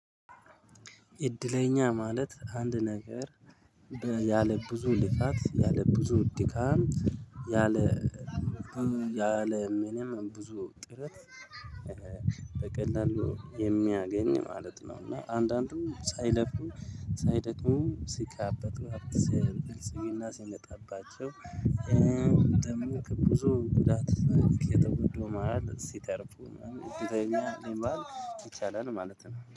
እድለኛ ማለት አንድ ነገር ያለ ብዙ ልፋት ያለ ብዙ ድካም ያለ ያለ ምንም ብዙ ጥረት በቀላሉ የሚያገኝ ማለት ነው። እና አንዳንዱም ሳይለፉ ሳይደክሙ ሲቃበጡ ሀብት ሲይና ሲመጣባቸው ደም ከብዙ ጉዳት የተወደደው መሃል ሲተርፉ ማለት ነው። የትኛው ሊመሃል ይቻላል ማለት ነው